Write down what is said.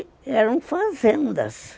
E eram fazendas.